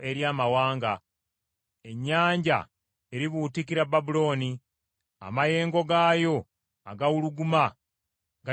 Ennyanja eribuutikira Babulooni; amayengo gaayo agawuluguma galigisaanikira.